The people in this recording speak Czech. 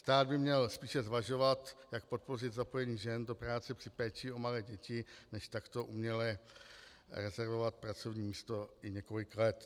Stát by měl spíše zvažovat, jak podpořit zapojení žen do práce při péči o malé děti než takto uměle rezervovat pracovní místo i několik let.